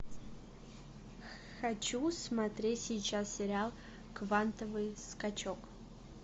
хочу смотреть сейчас сериал квантовый скачок